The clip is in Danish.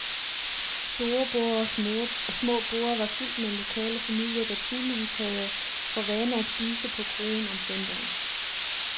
Store borde og små borde var fyldt med lokale familier, der tydeligvis havde for vane at spise på kroen om søndagen.